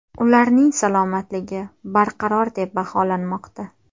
Ularning salomatligi barqaror deb baholanmoqda.